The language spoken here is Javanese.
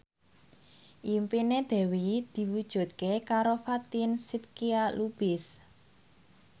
impine Dewi diwujudke karo Fatin Shidqia Lubis